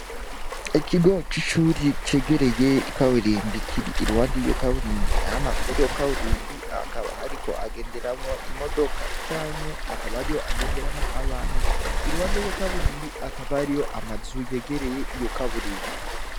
Ikigo c'icuri kegereye ikaburimbi kiri iruwande yiyo kaburimbi ama muri yo kaburimbi akaba hariko agenderamwo imodoka canke akaba ari yo agenderamwo abantu iruwande yiyo kaburimbi akaba ari yo amazu yegereye iyo kaburimbi.